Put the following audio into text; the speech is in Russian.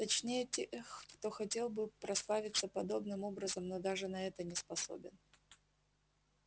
точнее тех кто хотел бы прославиться подобным образом но даже на это не способен